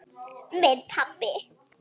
Minn pabbi.